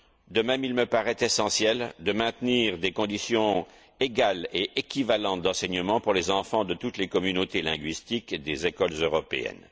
De même, il me paraît essentiel de maintenir des conditions égales et équivalentes d'enseignement pour les enfants de toutes les communautés linguistiques des écoles européennes.